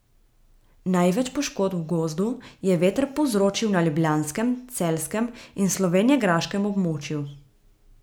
Največ poškodb v gozdu je veter povzročil na ljubljanskem, celjskem in slovenjegraškem območju.